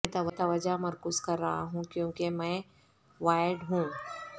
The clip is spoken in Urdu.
میں توجہ مرکوز کر رہا ہوں کیونکہ میں وائرڈ ہوں